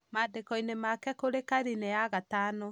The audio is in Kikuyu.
maandĩko-inĩ make kũrĩ karine ya gatano